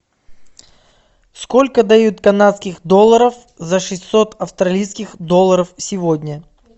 сколько дают канадских долларов за шестьсот австралийских долларов сегодня